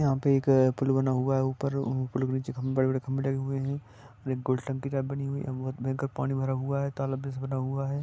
यहा पे एख पूल बना हुया है ऊपर पूल के नीचे एख खम्बार बना हुया है आऊर बोहत ताक पनि भरा हुया है ।